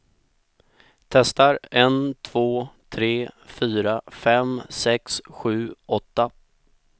Testar en två tre fyra fem sex sju åtta.